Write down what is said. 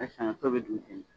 Saɲɔ to bɛ dun ten ne